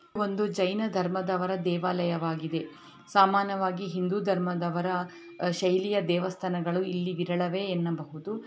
ಒಂದು ಜೈನ ಧರ್ಮದವರ ದೇವಾಲಯವಾಗಿದೆ ಸಾಮಾನ್ಯವಾಗಿ ಹಿಂದೂ ಧರ್ಮದವರ ಶೈಲಿಯ ದೇವಸ್ಥಾನಗಳು ಇಲ್ಲಿ ವಿರಳವೆ ಏನ್ನಬಹುದು.